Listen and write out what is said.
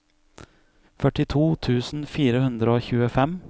førtito tusen fire hundre og tjuefem